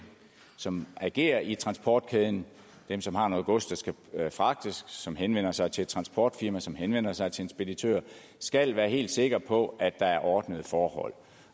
som agerer i transportkæden dem som har noget gods der skal fragtes som henvender sig til et transportfirma som henvender sig til en speditør skal være helt sikre på at der er ordnede forhold